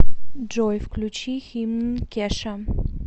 джой включи химн кеша